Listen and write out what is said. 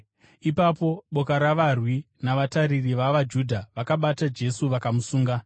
Ipapo boka ravarwi navatariri vavaJudha vakabata Jesu vakamusunga.